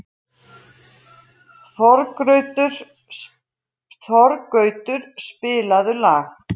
Þorgautur, spilaðu lag.